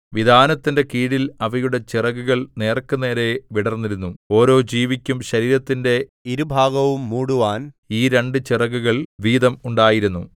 വിതാനത്തിന്റെ കീഴിൽ അവയുടെ ചിറകുകൾ നേർക്കുനേരെ വിടർന്നിരുന്നു ഓരോ ജീവിക്കും ശരീരത്തിന്റെ ഇരുഭാഗവും മൂടുവാൻ ഈ രണ്ടു ചിറകുകൾ വീതം ഉണ്ടായിരുന്നു